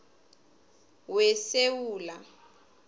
wesewula